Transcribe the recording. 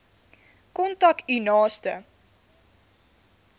kontak u naaste